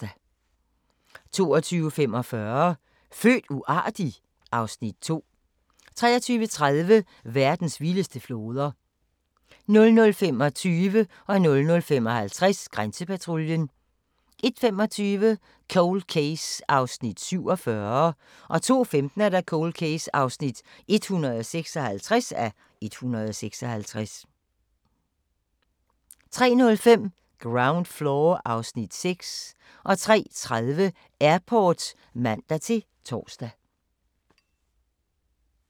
22:45: Født uartig? (Afs. 2) 23:30: Verdens vildeste floder 00:25: Grænsepatruljen 00:55: Grænsepatruljen 01:25: Cold Case (47:156) 02:15: Cold Case (156:156) 03:05: Ground Floor (Afs. 6) 03:30: Airport (man-tor)